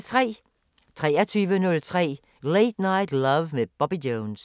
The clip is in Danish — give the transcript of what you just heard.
23:03: Late Night Love med Bobby Jones